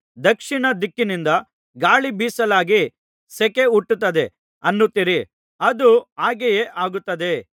ದಕ್ಷಿಣ ದಿಕ್ಕಿನಿಂದ ಗಾಳಿ ಬೀಸಲಾಗಿ ಸೆಕೆ ಹುಟ್ಟುತ್ತದೆ ಅನ್ನುತ್ತೀರಿ ಅದೂ ಹಾಗೆಯೇ ಆಗುತ್ತದೆ